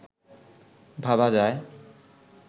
ভাবা যায়